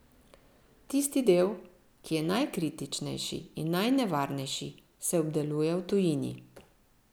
Tisti del, ki je najkritičnejši in najnevarnejši, se obdeluje v tujini.